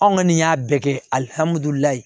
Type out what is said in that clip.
Anw kɔni y'a bɛɛ kɛ alihamudulilayi